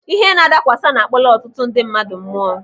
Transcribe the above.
Ihe nadakwasa na-akpọla ọtụtụ ndị mmadụ mụọ.